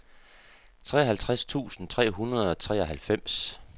treoghalvtreds tusind tre hundrede og treoghalvfems